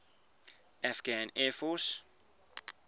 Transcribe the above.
afghan air force